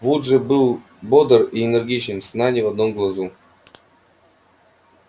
вуд же был бодр и энергичен сна ни в одном глазу